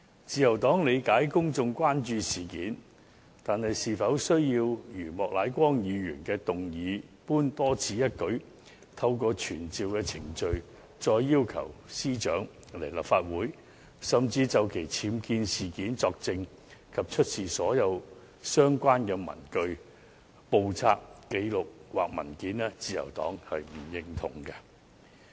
自由黨理解公眾關注這事件，但對於莫乃光議員動議的議案，透過傳召程序，要求司長前來立法會，就其寓所的僭建物作證及出示所有相關的文據、簿冊、紀錄或文件，自由黨卻不認同。